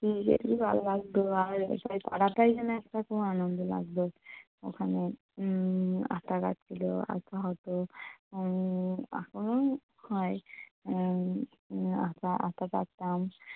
ভালো লাগতো আর সেই পাড়াটাই যেন একটা আনন্দ লাগতো ওখানে উম আতা গাছ ছিল। আতা হতো উম এখনও হয় উম উম আতা আতা পাড়তাম।